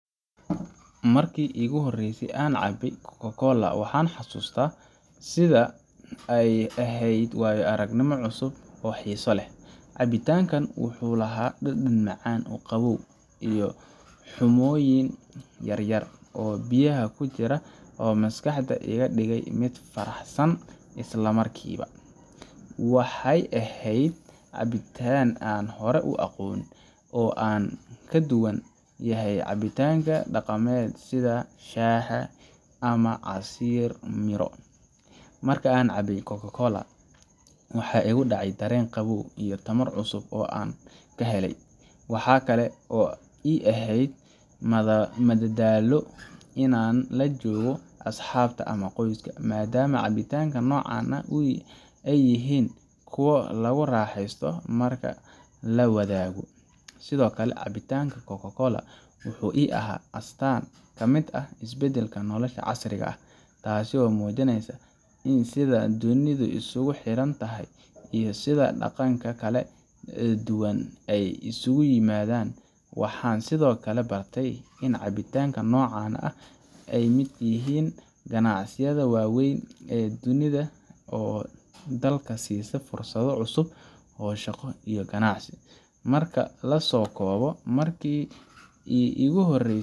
Markii aan markii iigu horeysay cabay Coca-Cola, waxaan xasuustaa sida ay ahayd waayo aragnimo cusub oo xiiso leh. Cabitaankani wuxuu lahaa dhadhan macaan, qabow, iyo xumbooyin yar-yar oo biyaha ku jira oo maskaxda iga dhigay mid faraxsan isla markiiba. Waxa ay ahayd cabitaan aan hore u aqoon, oo aan ka duwan yahay cabitaanada dhaqameedka sida shaaha ama casiir miro. Marka aan cabay Coca-Cola, waxa igu dhacay dareen qabow iyo tamar cusub oo aan ka helay. Waxa kale oo ii ahayd madadaalo in aan la joogo asxaabta ama qoyska, maadaama cabitaanada noocan ah ay yihiin kuwo lagu raaxeysto marka la wadaago. Sidoo kale, cabitaanka Coca-Cola wuxuu ii ahaa astaan ka mid ah isbeddelka nolosha casriga ah, taasoo muujineysa sida dunidu isugu xidhan tahay, iyo sida dhaqanka kala duwan ay isugu yimaadeen. Waxaan sidoo kale bartay in cabitaanada noocan ah ay ka mid yihiin ganacsiyada waaweyn ee dunida oo dadka siisa fursado cusub oo shaqo iyo ganacsi. Marka la soo koobo, markii iigu horeysay.